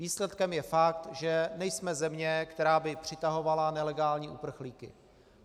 Výsledkem je fakt, že nejsme země, která by přitahovala nelegální uprchlíky.